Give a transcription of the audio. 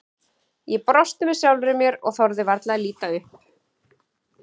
Ég brosti með sjálfri mér og þorði varla að líta upp.